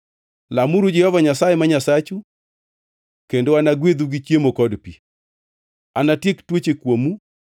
Lamuru Jehova Nyasaye ma Nyasachu, kendo anagwedhu gi chiemo kod pi. Anatiek tuoche kuomu,